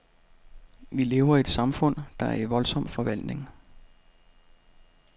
Vi lever i et samfund, der er i voldsom forvandling.